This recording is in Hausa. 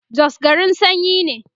Jos garin sanyi ne